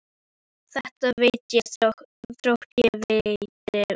Þetta veit ég þótt ég viti ekki margt.